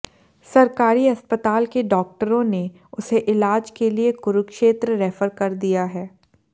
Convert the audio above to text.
सरकारी अस्पताल के डाक्टरों ने उसे इलाज के लिए कुरुक्षेत्र रैफर कर दिया है